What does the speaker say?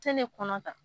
Tɛ ne kɔnɔ ta